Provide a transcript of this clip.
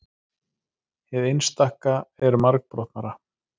hið einstaka er margbrotnara